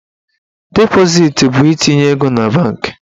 Depositi bụ itinye ego na banki.